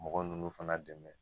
Mɔgɔ ninnu fana dɛmɛ.